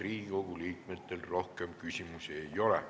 Riigikogu liikmetel rohkem küsimusi ei ole.